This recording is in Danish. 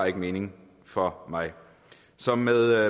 ikke mening for mig så med